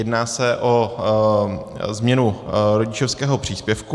Jedná se o změnu rodičovského příspěvku.